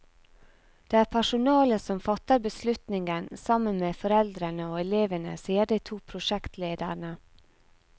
Det er personalet som fatter beslutningen, sammen med foreldrene og elevene, sier de to prosjektlederne.